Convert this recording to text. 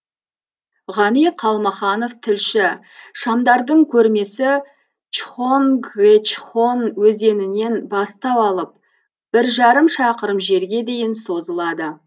ғани қалмаханов тілші шамдардың көрмесі чхонгечхон өзенінен бастау алып бір жарым шақырым жерге дейін созылады